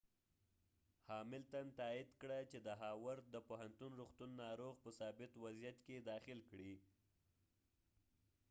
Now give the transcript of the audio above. هاملتن تائید کړه چې د هاورد د پوهنتون روغتون ناروغ په ثابت وضعیت کې داخل کړی